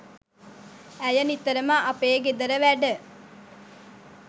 ඇය නිතරම අපේ ගෙදර වැඩ